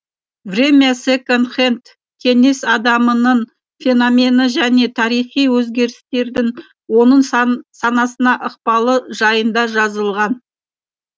время секонд хэнд кеңес адамының феномені және тарихи өзгерістердің оның санасына ықпалы жайында жазылған